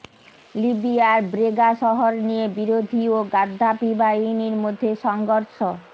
লিবিয়ার ব্রেগা শহর নিয়ে বিরোধী ও গাদ্দাফি বাহিনীর মধ্যে সংঘর্ষ